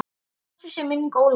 Blessuð sé minning Ólafíu.